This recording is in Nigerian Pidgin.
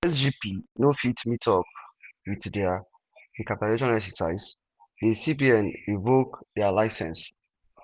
as sgb no fit meet up wit dat recapitalisation exercise di cbn revoke dia licence.